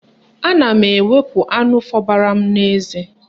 Ana m ewepu anụ fobara m n'eze.